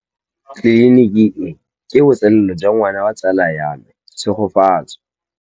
Tleliniki e, ke botsalêlô jwa ngwana wa tsala ya me Tshegofatso.